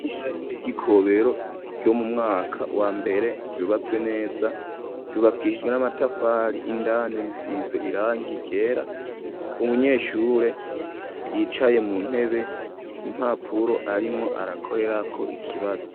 Ishure ry'i Kobero ryo mu mwaka wa mbere ryubatswe neza, ryubakishijwe n'amatafari, indani risize irangi ryera, umunyeshure yicaye mu ntebe, impapuro arimwo arakorerako ikibazo.